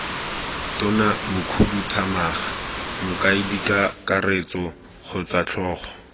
tona mokhuduthamaga mokaedikakaretso kgotsa tlhogo